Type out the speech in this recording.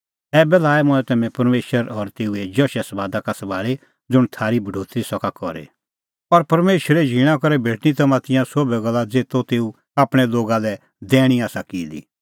ऐबै लाऐ मंऐं तम्हैं परमेशर और तेऊए जशे समादा का सभाल़ी ज़ुंण थारी बढोतरी सका करी और परमेशरे झींणा करै भेटणीं तम्हां तिंयां सोभै गल्ला ज़ेतो तेऊ आपणैं लोगा दैणीं आसा की दी